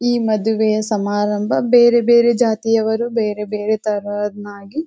ಈ ಮದೆವೆಯ ಸಮಾರಂಭ ಬೇರೆ ಬೇರೆ ಜಾತಿಯವರು ಬೇರೆ ಬೇರೆ ತರಹ ಮಾಡಿ --